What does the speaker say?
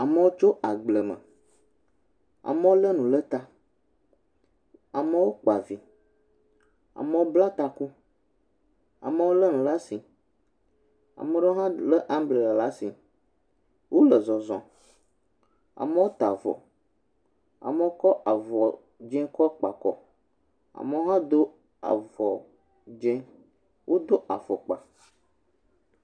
Amewo tso agbleme. Amewo lé nu le ta. Amewo kpa vi. Amewo bla taku. Amewo lé nu la asi. Amewo hã lé ambrela la asi. Wole zɔzɔm. Amewo ta avɔ. Amewo kɔ avɔ dzɛ̃ kɔ kpa kɔ. Amewo hã do avɔ dzɛ̃. Wodo afɔkpa.